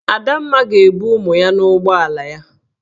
Adamma ga-ebu ụmụ ya n'ụgbọala ya.